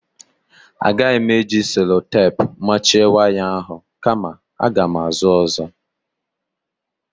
Agaghị m eji selotepu machie waya ahụ kama aga m ázụ́ ọ́zọ́.